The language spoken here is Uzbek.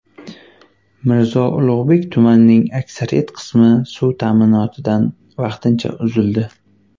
Mirzo Ulug‘bek tumanining aksariyat qismi suv ta’minotidan vaqtincha uzildi.